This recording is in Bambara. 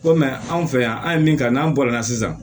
Ko mɛ anw fɛ yan an ye min kɛ n'an bɔla sisan